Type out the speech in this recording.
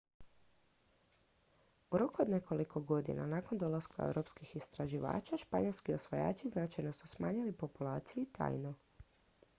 u roku od nekoliko godina nakon dolaska europskih istraživača španjolski osvajači značajno su smanjili populaciju taino